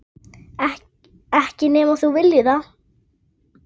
Kominn á fremsta hlunn.